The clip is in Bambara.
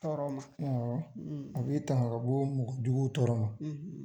Tɔɔrɔ ma, a bɛ i tanga ka bɔ mɔgɔ jugu tɔɔrɔ ma.